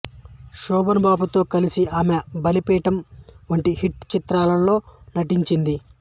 శోభన్ బాబుతో కలిసి ఆమె బలిపీఠం వంటి హిట్ చిత్రాల్లో నటించింది